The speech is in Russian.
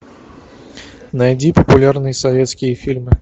найди популярные советские фильмы